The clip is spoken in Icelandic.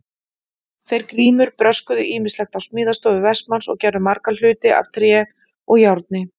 Þeir Grímur bröskuðu ýmislegt á smíðastofu Vestmanns og gerðu marga hluti af tré og járni.